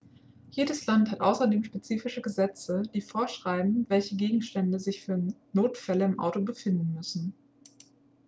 jedes land hat außerdem spezifische gesetze die vorschreiben welche gegenstände sich für notfälle im auto befinden müssen